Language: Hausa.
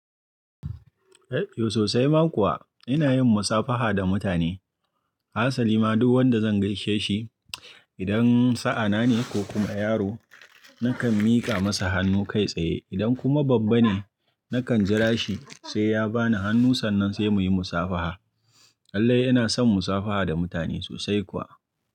Eh sosai ma kuwa ina yin musafaha da mutane. Hasali ma duk wanda zan gaishe shi idan sa'a nane ko kuma yaro nakan miƙa masa hannu kai tsaye idan kuma babba ne nakan jira shi sai ya ba ni hannu sannan sai muyi musafaha. Lallai ina son musafaha da mutane sosai kuwa.